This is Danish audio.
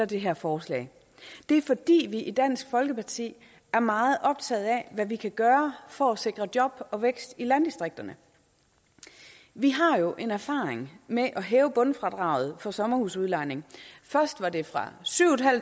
det her forslag det er fordi vi i dansk folkeparti er meget optaget af hvad vi kan gøre for at sikre job og vækst i landdistrikterne vi har jo en erfaring med at hæve bundfradraget på sommerhusudlejning først var det fra syv